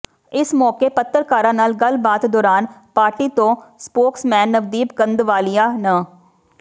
ਇਸ ਮੌਕੇ ਪੱਤਰਕਾਰਾਂ ਨਾਲ ਗੱਲਬਾਤ ਦੌਰਾਨ ਪਾਰਟੀ ਤੋਂ ਸਪੋਕਸਮੈਨ ਨਵਦੀਪ ਕੰਧਵਾਲੀਆ ਨ